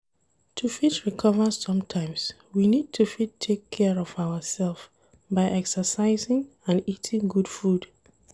To fit recover sometimes, we need to fit take care of our self by exercising and eating good food